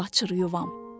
Könül açır yuvam.